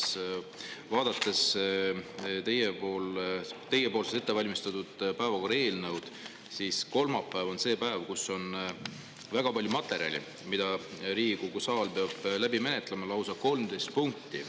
Kui ma vaatan teie ette valmistatud päevakorda, siis kolmapäev on see päev, mil on väga palju materjali, mida Riigikogu saal peab menetlema – lausa 13 punkti.